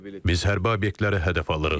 Biz hərbi obyektlərə hədəf alırıq.